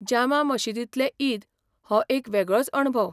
जामा मशीदींतलें ईद हो एक वेगळोच अणभव.